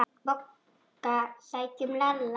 BOGGA: Sækjum Lalla!